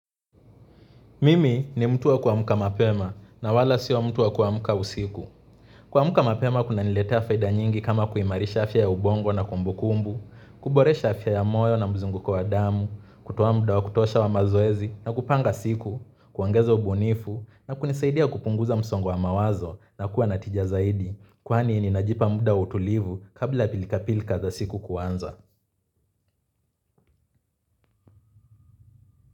Mimi ni mtu wa kuamka mapema na wala sio mtu wa kuamka usiku. Kuamka mapema kunaniletea faida nyingi kama kuimarisha afya ya ubongo na kumbukumbu, kuboresha afya ya moyo na mzunguko wa damu, kutoa muda wa kutosha wa mazoezi na kupanga siku, kuongeza ubunifu na kunisaidia kupunguza msongo wa mawazo na kuwa natija zaidi. Kwani ninajipa muda wa utulivu kabla pilika pilika za siku kuanza.